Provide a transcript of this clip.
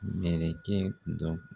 Mɛlɛkɛ dɔ